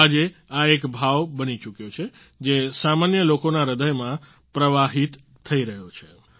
આજે આ એક ભાવ બની ચૂક્યો છે જે સામાન્ય લોકોના હ્રદયમાં પ્રવાહિત થઈ રહ્યો છે